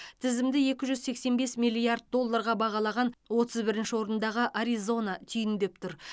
тізімді екі жүз сексен бес миллиард долларға бағалаған отыз бірінші орындағы аризона түйіндеп тұр